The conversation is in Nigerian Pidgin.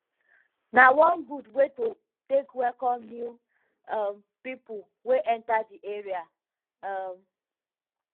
na one gud way to take welcom new um pipo wey enta di area um